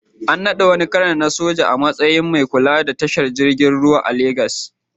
An naɗa wani kanar na soja a matsayin mai kula da tashar jiragen ruwa ta Legas.